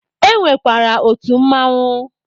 E nwekwara otu Mmanwụ